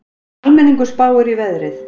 Almenningur spáir í veðrið